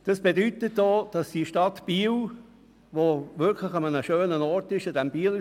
Die Stadt Biel liegt an einem schönen Ort, dort am Bielersee.